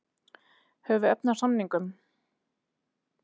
Höfum við efni á samningnum?